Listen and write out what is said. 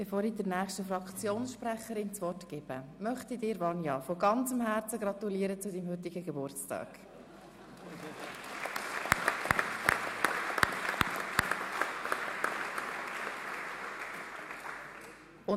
Bevor ich der nächsten Fraktionssprecherin das Wort gebe, möchte ich Grossrätin Kohli, von ganzem Herzen zu ihrem heutigen Geburtstag gratulieren.